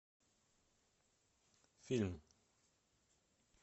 фильм